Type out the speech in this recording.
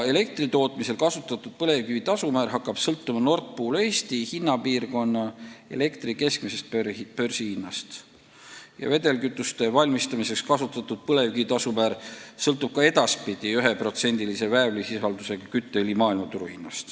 Elektritootmisel kasutatud põlevkivi tasumäär hakkab sõltuma Nord Pool Eesti hinnapiirkonna elektri keskmisest börsihinnast, vedelkütuste valmistamiseks kasutatud põlevkivi tasumäär sõltub ka edaspidi 1%-lise väävlisisaldusega kütteõli hinnast maailmaturul.